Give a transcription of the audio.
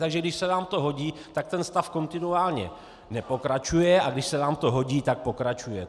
Takže když se vám to hodí, tak ten stav kontinuálně nepokračuje, a když se vám to hodí, tak pokračuje.